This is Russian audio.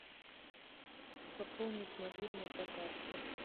пополнить мобильный по карте